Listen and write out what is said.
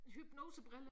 Hypnosebrille